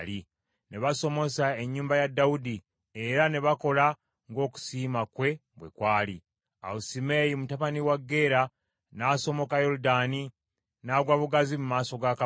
Ne basomosa ennyumba ya Dawudi, era ne bakola ng’okusiima kwe bwe kwali. Awo Simeeyi mutabani wa Gera n’asomoka Yoludaani, n’agwa bugazi mu maaso ga kabaka,